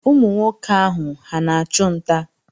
Ụmụ nwoke ahụ, ha na-achụ nta?